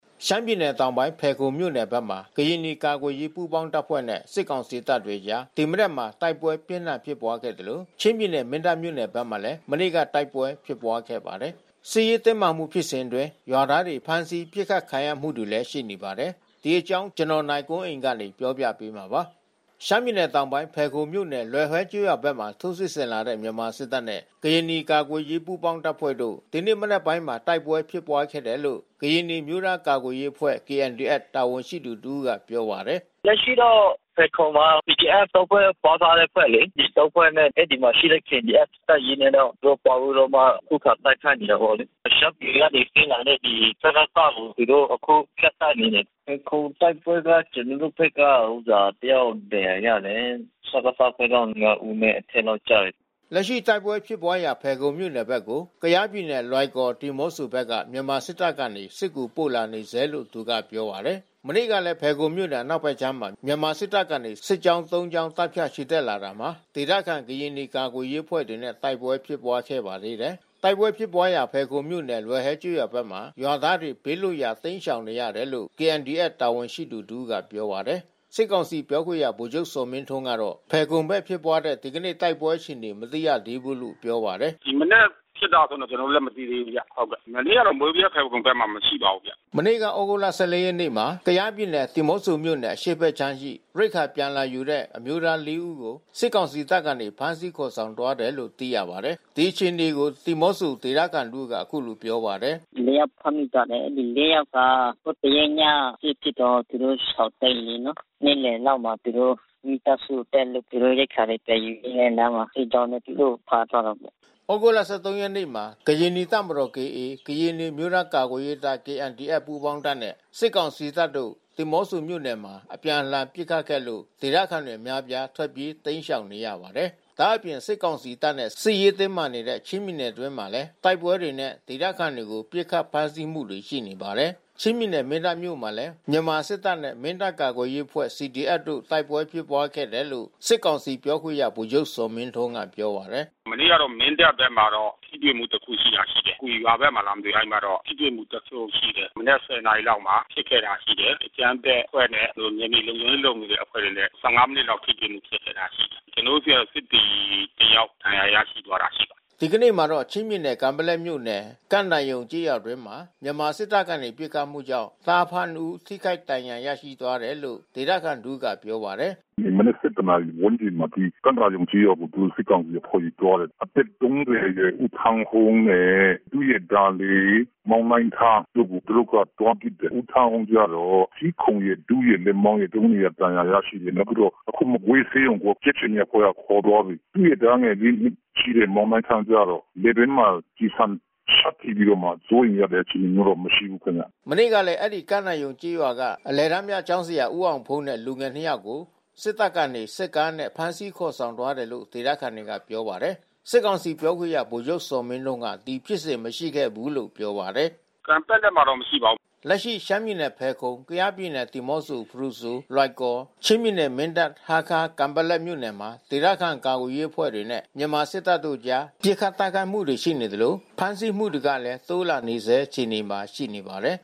ရှမ်းပြည်နယ်တောင်ပိုင်း ဖယ်ခုံမြို့နယ်ဘက်မှာ ကရင်နီကာကွယ်ရေးပူးပေါင်းတပ်ဖွဲ့နဲ့ စစ်ကောင်စီ တပ်အကြား ဒီမနက်မှာ တိုက်ပွဲပြင်းထန်ဖြစ်ပွါးခဲ့သလို ချင်းပြည်နယ် မင်းတပ် မြို့နယ်ဘက်မှာလည်း မနေ့ကတိုက်ပွဲဖြစ်ပွါးခဲ့ပါတယ်။ စစ်ရေးတင်းမာမှု ဖြစ်စဉ်အတွင်းရွာသားတွေ ဖမ်းဆီး ပစ်ခတ်ခံရမှု တွေလည်း ရှိနေပါတယ်။ ဒီသတင်းကို ဗွီအိုအေမြန်မာပိုင်းသတင်းထောက် နိုင်ကွန်းအိန်က တင်ပြပေးထားပါတယ်။ ရှမ်းပြည်နယ်တောင်ပိုင်း၊ ဖယ်ခုံမြို့နယ် လွယ်ဟွဲကျေးရွာဘက်မှာ ထိုးစစ်ဆင်လာတဲ့မြန်မာစစ်တပ်နဲ့ ကရင်နီကာကွယ်ရေး ပူးပေါင်းတပ်ဖွဲ့တို့ ဒီနေ့မနက်ပိုင်းမှာ တိုက်ပွဲဖြစ်ပွါးခဲ့တယ်လို့ ကရင်နီအမျိုးသား ကာကွယ်ရေးအဖွဲ့ KNDFတာဝန်ရှိသူတဦးက ပြောပါတယ်။ “လက်ရှိတော့ ဖယ်ခုံမှာ PDF ဖွဲ့ ပေါင်းထားတဲ့အဖွဲ့လေ။ ဒီ ဖွဲ့နဲ့ အဲဒီမှာရှိတဲ့ KNDF တပ်ရင်းနဲ့ တော့ သူတို့ ပေါင်းပြီးတော့ ခုခံတိုက်ခိုက်နေတာပေါ့လေ။ ရှမ်းပြည်ကနေဆင်းလာတဲ့ စကစ ကို သူတို့ အခုဖြတ်တိုက်နေတယ်။ ဖယ်ခုံတိုက်ပွဲက ကျနော်တို့ဘက်က တယောက်ဒဏ်ရာရတယ်။ စကစ ဘက်က ဦးနဲ့ အထက်လောက်ကျတယ်။” လက်ရှိတိုက်ပွဲဖြစ်ပွါးရာ ဖယ်ခုံမြို့နယ်ဘက်ကို ကယားပြည်နယ်လွိုင်ကော် ဒီးမော့ဆိုဘက်က မြန်မာ စစ်တပ်ကနေ စစ်ကူပို့လာနေဆဲလို့ သူကပြောပါတယ်။ မနေ့ကလည်း ဖယ်ခုံမြို့နယ်အနောက်ဖက်ခြမ်းမှာ မြန်မာစစ်တပ်ကနေ စစ်ကြောင်း ကြောင်း တပ်ဖြန့်ချီတက်လာတာမှာ ဒေသခံကရင်နီကာကွယ်ရေးအဖွဲ့တွေနဲ့ တိုက်ပွဲဖြစ်ပွါးခဲ့ပါသေးတယ်။ တိုက်ပွဲဖြစ်ပွါးရာ ဖယ်ခုံမြို့နယ် လွယ်ဟွဲကျေးရွာဘက်မှာ ရွာသားတွေ ဘေးလွတ်ရာရှောင်တိမ်းနေ ရတယ်လို့ KNDF တာဝန်ရှိသူတဦးကပြောပါတယ်။ စစ်ကောင်စီ ပြောခွင့်ရဗိုလ်ချုပ်ဇော်မင်းထွန်းကတော့ ဖယ်ခုံဘက်ဖြစ်ပွါးတဲ့ဒီကနေ့ တိုက်ပွဲ အခြေအနေ မသိသေးဘူးလို့ ပြောပါတယ်။ “ဒီမနက်ဖြစ်တာတွေ ကျနော်တို့လည်း မသိသေးဘူးဗျ။ မနေ့က မိုးဗြဲ၊ ဖယ်ခုံဘက်မှာမရှိပါဘူးဗျ။” မနေ့က သြဂုတ်လ ရက်နေ့မှာ ကယားပြည်နယ် ဒီးမော့ဆိုမြို့နယ် အရှေ့ဘက်ခြမ်းရှိ ရိက္ခာပြန် လာယူတဲ့ အမျိုးသားလေးဦးကို စစ်ကောင်စီတပ်မှ ဖမ်းဆီးခေါ်ဆောင်သွားတယ်လို့ သိရပါတယ်။ ဒီအခြေအနေကို ဒီးမော့ဆိုဒေသခံတဦးက အခုလို ပြောပါတယ်။ “မနေ့ကဖမ်းမိထားတဲ့လူ ယောက်က ဟိုတရက်ည စစ်ဖြစ်တော့ သူတို့ရှောင်တိမ်းနေရတယ် လေ။ နေ့လယ်လောက်မှာ သူတို့မိသားစုအတွက် သူတို့ရိက္ခာပြန်ယူပြီးတော့လမ်းမှာ စစ်ကြောင်းနဲ့ တိုးတော့ သူတို့ကိုဖမ်းသွားတာပေါ့။” သြဂုတ်လ ရက်နေ့မှာ ကရင်နီတပ်မတော် ၊ ကရင်နီအမျိုးသားကာကွယ်ရေးတပ် ပူးပေါင်းတပ်နဲ့ စစ်ကောင်စီတပ်တို့ ဒီးမော့ဆိုမြို့နယ်မှာ အပြန်အလှန်ပစ်ခတ်ခဲ့လို့ ဒေသခံအများပြား ထွက်ပြေးတိမ်းရှောင်ခဲ့ရပါတယ်။ ဒါ့အပြင်စစ်ကောင်စီတပ်နဲ့ စစ်ရေးတင်းမာနေတဲ့ချင်းပြည်နယ်အတွင်းမှာလည်း တိုက်ပွဲတွေနဲ့ ဒေသခံတွေကို ပစ်ခတ်ဖမ်းဆီးမှုတွေ ရှိနေပါတယ်။ ချင်းပြည်နယ် မင်းတပ်မြို့နယ်မှာလည်း မနေ့မနက်ပိုင်းမှာ မြန်မာစစ်တပ်နဲ့ မင်းတပ်ကာကွယ်ရေးအဖွဲ့ CDF တို့ တိုက်ပွဲဖြစ်ပွါးခဲ့တယ်လို့ စစ်ကောင်စီ ပြောခွင့်ရ ဗိုလ်ချုပ်ဇော်မင်းထွန်းက ပြောပါတယ်။ “မနေ့ကတော့ မင်းတပ်ဘက်မှာတော့ ထိတွေ့မှုတခုဖြစ်တာရှိတယ်။ ကွီရွာဘက်မှာလားမသိ။ အဲဒီမှာတော့ ထိတွေ့မှု တခုရှိတယ်။ မနက် နာရီလောက်မှာဖြစ်ခဲ့တာရှိတယ်။ အကြမ်းဖက်အဖွဲ့နဲ့ ကျနော်တို့နယ်မြေလုံခြုံရေးလုပ်နေတဲ့ အဖွဲ့တွေနဲ့ မိနစ်လောက် ထိတွေ့မှုဖြစ်ခဲ့တာရှိတယ်။ ကျနော်တို့ဆီက စစ်သည်တယောက် ဒဏ်ရာရရှိသွားတာရှိပါတယ်။” ဒီကနေ့မှာတော့ ချင်းပြည်နယ် ကန်ပက်လက်မြို့နယ် ကန့်သာရုံကျေးရွာအတွင်း မြန်မာစစ်တပ်ကနေ ပစ်ခတ်မှုကြောင့် သားအဖနှစ်ဦး ထိခိုက်ဒဏ်ရာရရှိသွားတယ်လို့ ဒေသခံတဦးကပြောပါတယ်။ “ဒီမနက် ဝန်းကျင်မှာ ကန့်သာရုံကျေးရွာကို စစ်ကောင်စီအဖွဲ့တွေသွားတယ်။ အသက် အရွယ်ဦးထန်းဟုန်းနဲ့ သူရဲ့ သားလေး မောင်နိုင်းထားတို့ကို သူတို့ကသွားပစ်တယ်။ ဦးထန်းဟုန်း ကတော့ ဆီးခုံရယ်၊ ဒူးရယ်၊ လက်မောင်းရယ် ဒဏ်ရာ ရရှိတယ်။ နောက်ပြီးတော့ အခုမကွေးဆေးရုံကို ကြက်ခြေနီအဖွဲ့တွေကခေါ်သွားပြီ။ သူ့ရဲ့သားငယ် နှစ်ရှိ မောင်နိုင်းထားကျတော့ လည်ပင်းမှာ ကျည်ဆံရှပ်ထပြီးတော့မှ စိုးရိမ်ရတဲ့အခြေအနေမရှိဘူးခင်ဗျ။” မနေ့ကလည်း အဲဒီ ကန့်သာရုံကျေးရွာက အလယ်တန်းပြကျောင်းဆရာဦးအောင်ဖုန်းနဲ့ လူငယ် နှစ်ယောက်ကို စစ်တပ်က စစ်ကားနဲ့ ဖမ်းဆီးခေါ်ဆောင်သွားတယ်လို့ ဒေသခံတွေကပြောပါတယ်။ စစ်ကောင်စီပြောခွင့်ရ ဗိုလ်ချုပ်ဇော်မင်းထွန်းက ဒီဖြစ်စဉ်မရှိခဲ့ဘူးလို့ ပြောပါတယ်။ “ကန်ပက်လက်မှာတော့မရှိပါဘူး။ ” လက်ရှိရှမ်းပြည်နယ်ဖယ်ခုံ ကယားပြည်နယ်ဒီးမော့ဆို ဖရူဆို၊ လွိုင်ကော်၊ ချင်းပြည်နယ် မင်းတပ်၊ ဟားခါး၊ ကန်ပက်လက်မြို့ နယ်မှာ ဒေသခံကာကွယ်ရေးအဖွဲ့တွေနဲ့ မြန်မာစစ်တပ်တို့အကြား ပစ်ခတ် တိုက်ခိုက်မှုတွေရှိနေသလို ဖမ်းဆီးမှုတွေကလဲ တိုးလာနေဆဲအခြေအနေမှာရှိနေပါတယ်